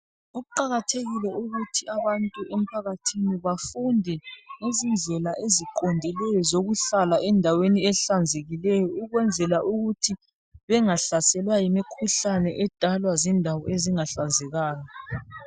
Kuqakathekile ukuthi abantu emphakathini bafunde ngezindlela eziqondileyo zokuhlala endaweni ehlanzekileyo ukwenzela ukuthi bengahlaselwa yimikhuhlane edalwa zindawo ezingahlanzekanga.